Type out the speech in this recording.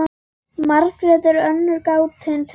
Margrét er önnur gátan til.